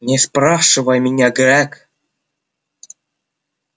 не спрашивай меня грег